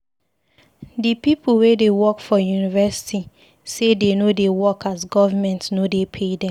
Di pipu wey dey work for University sey dey no dey work as government no dey pay dem.